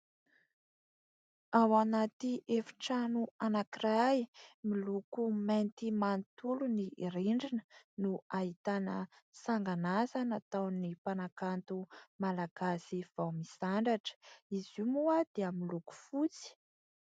Ao anatỳ efitrano anankiray miloko mainty manontolo ny rindrina no ahitana sangan'asa nataon'ny mpanakanto malagasy vao misandratra izy io moa dia miloko fotsy.